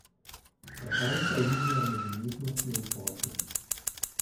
Ta tanka linija med umetnostjo in poslom.